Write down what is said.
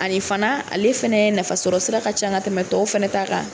Ale fana ale fana nafasɔrɔsira ka ca ka tɛmɛ tɔw fana ta kan